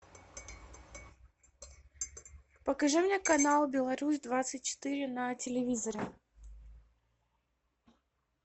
покажи мне канал беларусь двадцать четыре на телевизоре